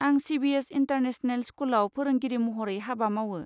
आं CBSE international स्कुलआव फोरोंगिरि महरै हाबा मावो।